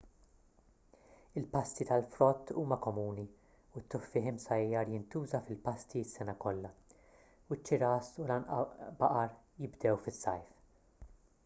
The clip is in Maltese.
il-pasti tal-frott huma komuni u t-tuffieħ imsajjar jintuża fil-pasti s-sena kollha u ċ-ċiras u l-għanbaqar jibdew fis-sajf